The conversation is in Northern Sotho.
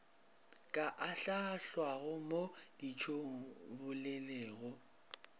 ka ahlaahlwago mo ditšong bolelego